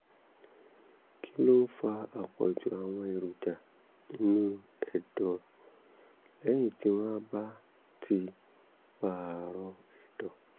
kí ló ń fa àpọ̀jù àwọn èròjà inú ẹ̀dọ̀ lẹ́yìn tí wọ́n bá ti pààrọ̀ ẹ̀dọ̀?